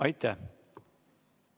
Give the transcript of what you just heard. Aitäh!